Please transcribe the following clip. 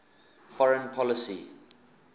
foreign policy